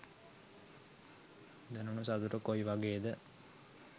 දැනුණු සතුට කොයි වගේද?